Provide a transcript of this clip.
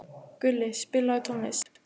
Gulli, spilaðu tónlist.